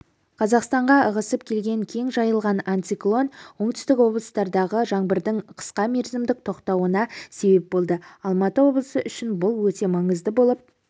қазақстанға ығысып келген кең жайылған антициклон оңтүстік облыстардағы жаңбырдың қысқа мерзімдік тоқтауына себеп болды алматы облысы үшін бұл өте маңызды болып